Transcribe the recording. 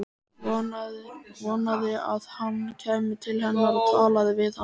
Vonaði að hann kæmi til hennar og talaði við hana.